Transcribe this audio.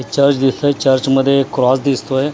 church दिसतोय चर्चमध्ये cross दिसतोय आणि त्या--